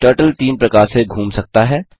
turtle तीन प्रकार से घूम सकता है